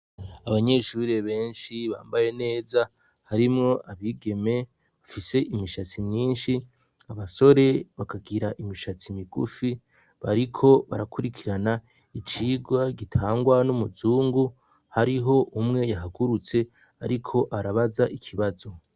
Abanyeshurire benshi bambaye neza harimwo abigeme bafise imishatsi myinshi abasore bakagira imishatsi migufi bariko barakurikirana icirwa gitangwa n'umuzungu hariho umwe yahagurutse, ariko arabaza ikibazo.